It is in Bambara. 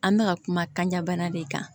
An bɛ ka kuma kanɲa bana de kan